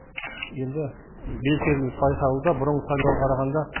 енді белсенділік байқалуда бұрынғы сайлауға қарағанда